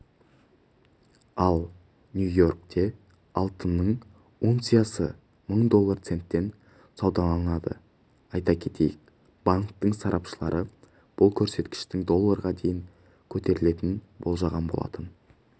ал нью-йоркте алтынның унциясы мың доллар центтен саудаланды айта кетейік банкінің сарапшылары бұл көрсеткіштің долларға дейін көтерілетінін болжаған болатын